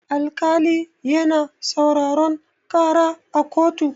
Alkali yana sauraron ƙara a kotu.